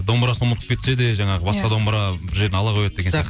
домбырасын ұмытып кетсе де жаңағы басқа домбыра бір жерден ала қояды деген